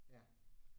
Ja